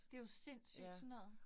Det jo sindssygt sådan noget